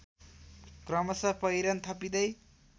क्रमश पहिरन थपिँदै